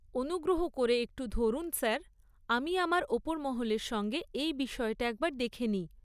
অনুগ্রহ করে একটু ধরুন স্যার, আমি আমার ওপর মহলের সঙ্গে এই বিষয়টা একবার দেখে নিই।